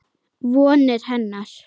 Vonir hennar.